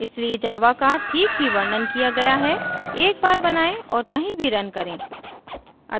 इसलिए java का ठीक ही वर्णन किया गया है एक बार बनाएँ और कही भी रन करें